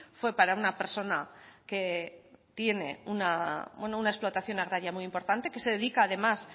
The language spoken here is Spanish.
fue para una persona que tiene una explotación agraria muy importante que se dedica además